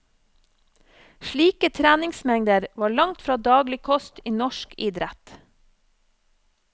Slike treningsmengder var langt fra daglig kost i norsk idrett.